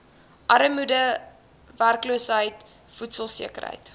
armoede werkloosheid voedselsekerheid